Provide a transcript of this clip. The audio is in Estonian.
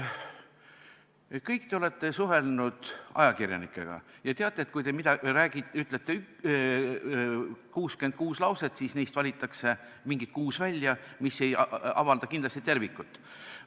Kõik te olete suhelnud ajakirjanikega ja teate, et kui te ütlete 66 lauset, siis neist valitakse näiteks kuus välja, mis kindlasti ei ava tervikut.